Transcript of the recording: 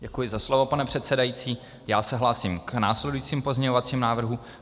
Děkuji za slovo, pane předsedající, já se hlásím k následujícím pozměňovacím návrhům.